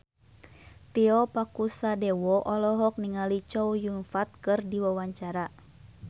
Tio Pakusadewo olohok ningali Chow Yun Fat keur diwawancara